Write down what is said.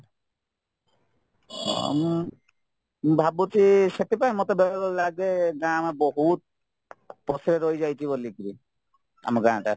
ହଁ ମୁଁ ଭାବୁଛି ସେଥିପାଇଁ ମତେ ବେଳେ ବେଳେ ଲାଗେ ଆମେ ବହୁତ ପଛରେ ରହି ଯାଇଛି ବୋଲିକିରି ଆମ ଗାଁଟା